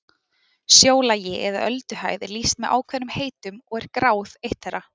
Sjólagi eða ölduhæð er lýst með ákveðnum heitum og er gráð eitt þeirra.